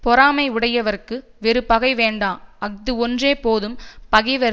பொறாமை உடையவர்க்கு வேறு பகை வேண்டா அஃது ஒன்றே போதும் பகைவர்